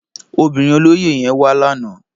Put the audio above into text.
Óbirin ólóyé yèn wá làná